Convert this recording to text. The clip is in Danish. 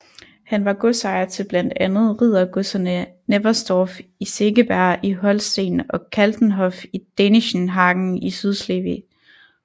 Han var godsejer til blandt andet riddergodserne Neversdorf i Segeberg i Holsten og Kaltenhof i Dänischenhagen i Sydslesvig